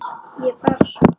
Ég er bara svona.